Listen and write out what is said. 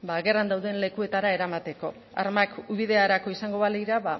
gerran dauden lekuetara eramateko armak ubiderako izango balira